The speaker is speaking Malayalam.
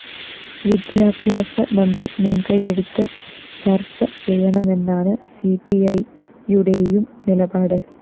വിദ്യാഭ്യാസ മന്ത്രി മുന്‍കൈയെടുത്ത് ചര്‍ച ചെയ്യണമെന്നാണ് സി പി ഇ യുടേയും നിലപാട്